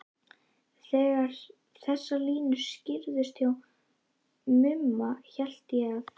Þegar þessar línur skýrðust hjá Mumma hélt ég að